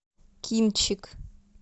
кинчик